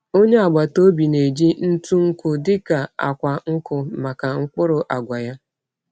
Onye agbata obi na-eji ntụ nkụ dị ka akwa nkụ maka mkpụrụ agwa ya.